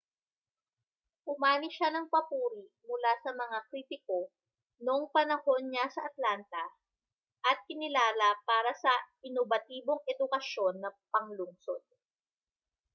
umani siya ng papuri mula sa mga kritiko noong panahon niya sa atlanta at kinilala para sa inobatibong edukasyon na panglungsod